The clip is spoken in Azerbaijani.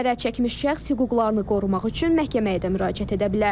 Zərər çəkmiş şəxs hüquqlarını qorumaq üçün məhkəməyə də müraciət edə bilər.